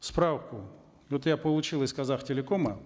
справку вот я получил из казахтелекома